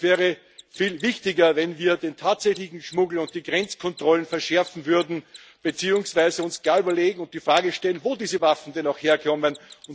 Es wäre viel wichtiger, wenn wir den tatsächlichen Schmuggel und die Grenzkontrollen verschärfen würden beziehungsweise uns gar überlegen und die Frage stellen, wo diese Waffen denn herkommen.